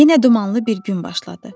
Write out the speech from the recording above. Yenə dumanlı bir gün başladı.